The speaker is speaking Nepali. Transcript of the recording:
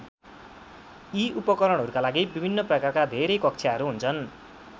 यी उपकरणहरूका लागि विभिन्न प्रकारका धेरै कक्षाहरू हुन्छन्।